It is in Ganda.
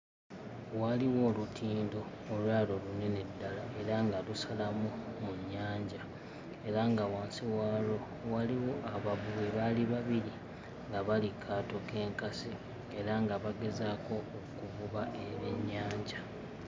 Waaliwo olutindo olwali olunene ddala era nga lusalamu mu nnyanja era nga wansi waalwo waaliwo abavubi baali babiri nga bali kkaato k'enkasi era nga bagezaako okuvuba ebyennyanja.